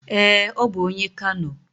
Ee, ọ bụ onye Kano